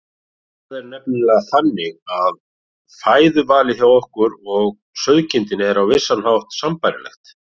Það er nefnilega þannig að fæðuvalið hjá okkur og sauðkindinni er á vissan hátt sambærilegt.